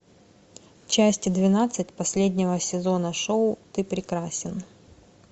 часть двенадцать последнего сезона шоу ты прекрасен